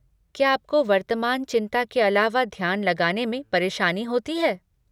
क्या आपको वर्तमान चिंता के अलावा ध्यान लगाने में परेशानी होती है?